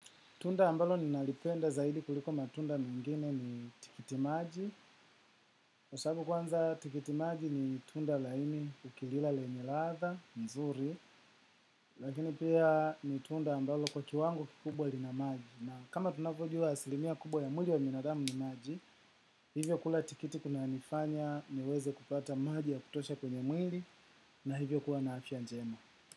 Tunda ambalo ninalipenda zaidi kuliko matunda mengine ni tikitimaji. Na sababu kwanza tikitimaji ni tunda laini nikila lenya ladha nzuri. Lakini pia ni tunda ambalo kwa kiwango kikubwa lina maji. Na kama tunapojua asilimia kubwa ya mwili wa binadamu ni maji. Hivyo kula tikiti kunanifanya niweze kupata maji ya kutosha kwenye mwili na hivyo kuwa na afya njema.